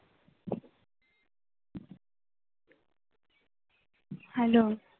hello